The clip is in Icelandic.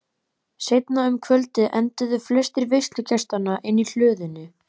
Seinna um kvöldið enduðu flestir veislugestanna inni í hlöðunni.